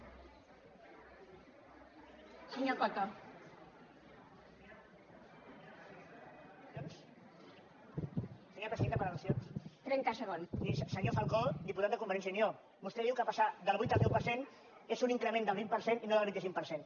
senyora presidenta per al miri senyor falcó diputat de convergència i unió vostè diu que passar del vuit al deu per cent és un increment del vint per cent i no del vint cinc per cent